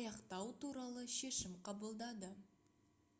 аяқтау туралы шешім қабылдады